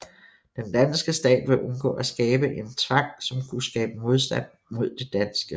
Den danske stat ville undgå at skabe en tvang som kunne skabe modstand mod det danske